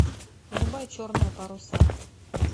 врубай черные паруса